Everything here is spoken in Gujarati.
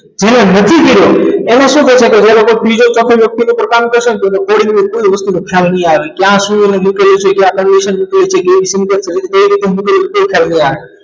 જેને નથી કર્યો એને શું પ્રયત્ન કરે એ લોકો ત્રીજો વ્યક્તિ suppose પોતાનો પ્રસંગ વ્યક્તિ કોઈ વસ્તુનો ખ્યાલ નહીં આવે ત્યાં શું નીકળે છે અને ક્યાં કઈ condition મૂકવી છે કેવી રીતે મૂકવી છે તે ખ્યાલ નહીં આવે